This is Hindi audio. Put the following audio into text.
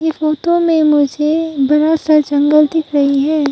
ये फोटो में मुझे बड़ा सा जंगल दिख रही है।